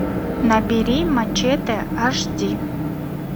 набери мачете аш ди